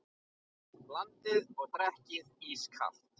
Blandið og drekkið ískalt.